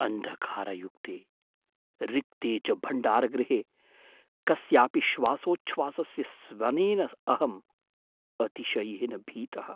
अन्धकारयुक्ते, रिक्ते च भण्डारगृहे कस्यापि श्वासोच्छ्वासस्य स्वनेन अहं अतिशयेन भीतः।